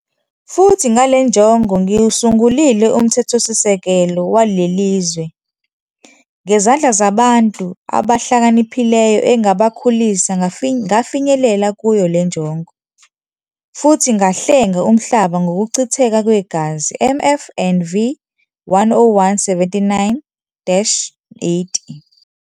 Futhi ngale njongo ngiwusungulile uMthethosisekelo waleli zwe, ngezandla zabantu abahlakaniphileyo engabakhulisa ngafinyelela kuyo le njongo, futhi ngahlenga umhlaba ngokuchitheka kwegazi, Mf and V 101-79-80.